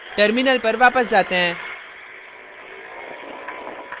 terminal पर वापस जाते हैं